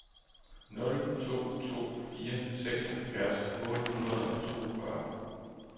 nul to to fire seksoghalvfjerds otte hundrede og toogfyrre